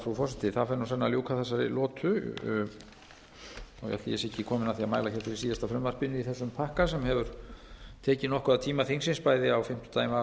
frú forseti senn lýkur þessari lotu ætli ég sé ekki kominn að því að mæla hér fyrir síðasta frumvarpinu í þessum pakka sem hefur tekið nokkuð af tíma þingsins bæði á fimmtudaginn var